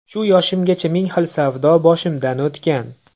Shu yoshimgacha ming xil savdo boshimdan o‘tgan.